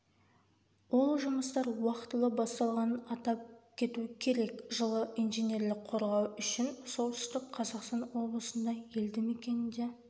ол жұмыстар уақтылы басталғанын атап кету керек жылы инженерлік қорғау үшін солтүстік қазақстан облысында елді мекенінде